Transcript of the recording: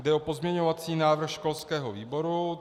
Jde o pozměňovací návrh školského výboru.